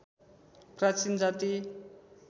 प्राचीन जाति